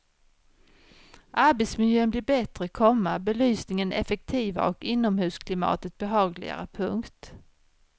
Arbetsmiljön blir bättre, komma belysningen effektivare och inomhusklimatet behagligare. punkt